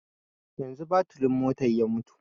Yanzu baturin motar ya mutu